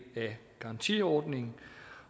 af garantiordningen